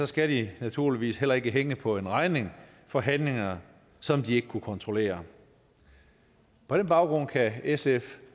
skal de naturligvis heller ikke hænge på en regning for handlinger som de ikke kunne kontrollere på den baggrund kan sf